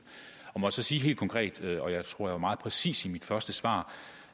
må jeg så sige helt konkret og jeg tror at jeg var meget præcis i mit første svar